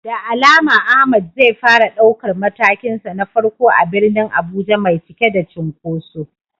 Da alama Ahmad zai fara daukar matakinsa na farko a birnin Abuja mai cike da cunkoso.